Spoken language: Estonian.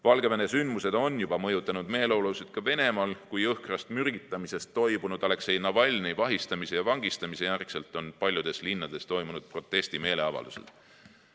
Valgevene sündmused on juba mõjutanud meeleolusid ka Venemaal, kui jõhkrast mürgitamisest toibunud Aleksei Navalnõi vahistamise ja vangistamise järel on paljudes linnades toimunud protestimeeleavaldused.